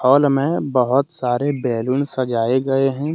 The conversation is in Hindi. हाल में बहोत सारे बैलून सजाए गए हैं।